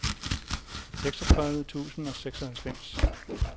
seksogtredive tusind og seksoghalvfems